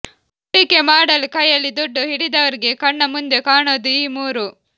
ಹೂಡಿಕೆ ಮಾಡಲು ಕೈಯಲ್ಲಿ ದುಡ್ಡು ಹಿಡಿದವರಿಗೆ ಕಣ್ಣಮುಂದೆ ಕಾಣೋದು ಈ ಮೂರು